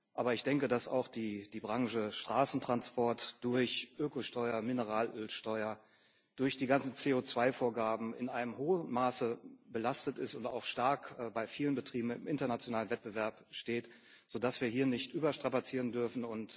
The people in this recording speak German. Aber ich denke, dass auch die Branche Straßentransport durch Ökosteuer, Mineralölsteuer und durch die ganzen CO2 Vorgaben in einem hohen Maße belastet ist und bei vielen Betrieben auch stark im internationalen Wettbewerb steht, sodass wir hier nicht überstrapazieren dürfen.